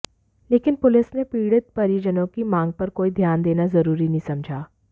लेकिन पुलिस ने पीडि़त परिजनों की मांग पर कोई ध्यान देना जरूरी नहीं समझा